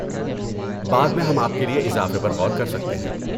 بعد میں ہم آپ کے لیے اضافے پر غور کر سکتے ہیں۔